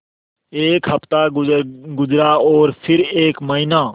एक हफ़्ता गुज़रा और फिर एक महीना